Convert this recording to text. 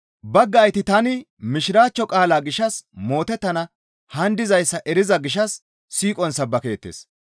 Baggayti tani Mishiraachcho qaalaa gishshas mootettana haan dizayssa eriza gishshas siiqon sabbakeettes.